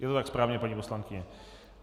Je to tak správně, paní poslankyně?